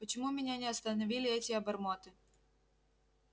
почему меня не остановили эти обормоты